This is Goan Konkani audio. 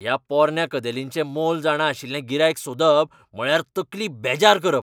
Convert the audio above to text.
ह्या पोरन्या कदेलींचें मोल जाणां अशिल्लें गिरायक सोदप म्हळ्यार तकली बेजार करप.